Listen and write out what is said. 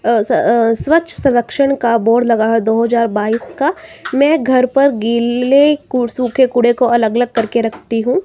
अह स अह स्वच्छ संरक्षण का बोर्ड लगा है दो हजार बाइस का मैं घर पर गीले व सूखे कूड़े को अलग अलग करके रखती हूं।